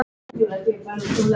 Hann er mín eina von.